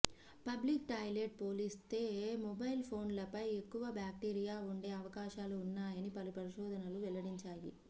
public toilet పోలిస్తే mobile ఫోన్లపై ఎక్కువ బాక్టీరియా ఉండే అవకాశాలు ఉన్నాయని పలు పరిశోధనాలు వెల్లడించాయి